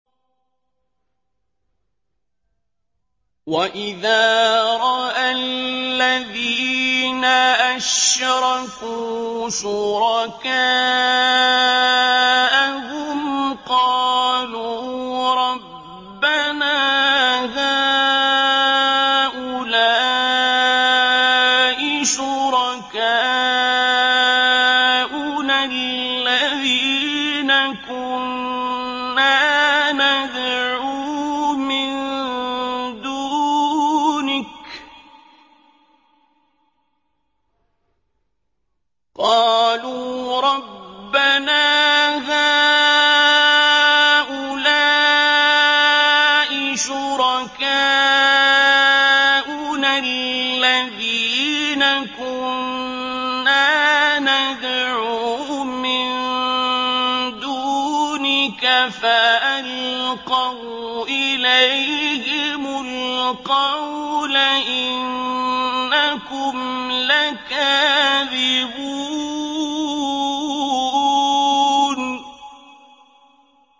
وَإِذَا رَأَى الَّذِينَ أَشْرَكُوا شُرَكَاءَهُمْ قَالُوا رَبَّنَا هَٰؤُلَاءِ شُرَكَاؤُنَا الَّذِينَ كُنَّا نَدْعُو مِن دُونِكَ ۖ فَأَلْقَوْا إِلَيْهِمُ الْقَوْلَ إِنَّكُمْ لَكَاذِبُونَ